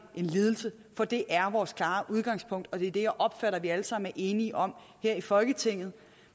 en lidelse for det er vores klare udgangspunkt og det er det jeg opfatter at vi alle sammen er enige om her i folketinget